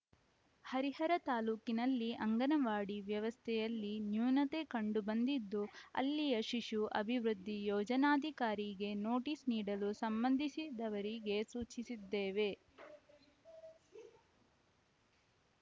ಹರಿಹರ ತಾಲೂಕಿನಲ್ಲಿ ಅಂಗನವಾಡಿ ವ್ಯವಸ್ಥೆಯಲ್ಲಿ ನ್ಯೂನತೆ ಕಂಡು ಬಂದಿದ್ದು ಅಲ್ಲಿಯ ಶಿಶು ಅಭಿವೃದ್ಧಿ ಯೋಜನಾಧಿಕಾರಿಗೆ ನೋಟಿಸ್‌ ನೀಡಲು ಸಂಬಂಧಿಸಿದವರಿಗೆ ಸೂಚಿಸಿದ್ದೇವೆ